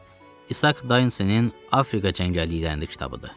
İsaq Daynesenin Afrika cəngəlliklərində kitabıdır.